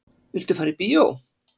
Viltu fara í bíó?